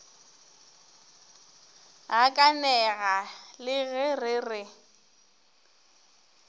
gakanega le ge re re